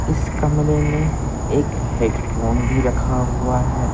इस कमरे में एक हेडफोन भी रखा हुआ है।